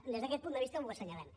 des d’aquest punt de vista ho assenyalem